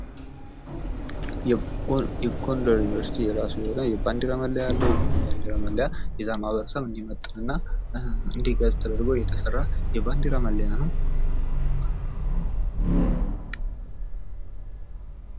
የጎንደር ዩኒቨርስቲ የራሱ የሆነ የባንዲራ መለያ አለው። ይህ የባንዲራ መለያ የዛን ማህበረሰብ እንዲመጥንና እንዲገልፅ ተደርጎ የተሰራ የባንዲራ መለያ ነው።